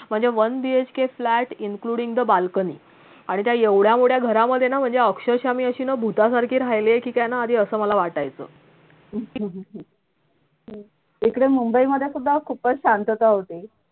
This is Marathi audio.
म्हणजे one BHK flat including the balcony आणि त्या एवढ्या मोठ्या घरा मधे ना म्हणजे अक्षरशा मी असेना भुतासारखी राहिलेय कि काय ना आधी अस मला वाटायचं